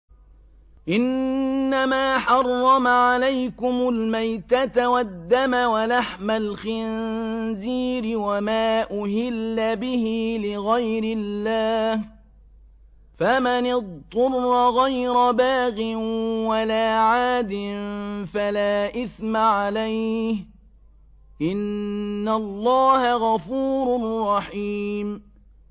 إِنَّمَا حَرَّمَ عَلَيْكُمُ الْمَيْتَةَ وَالدَّمَ وَلَحْمَ الْخِنزِيرِ وَمَا أُهِلَّ بِهِ لِغَيْرِ اللَّهِ ۖ فَمَنِ اضْطُرَّ غَيْرَ بَاغٍ وَلَا عَادٍ فَلَا إِثْمَ عَلَيْهِ ۚ إِنَّ اللَّهَ غَفُورٌ رَّحِيمٌ